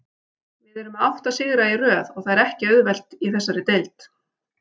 Við erum með átta sigra í röð og það er ekki auðvelt í þessari deild.